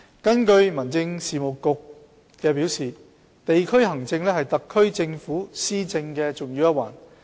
根據民政事務局表示，地區行政是特區政府施政的重要一環。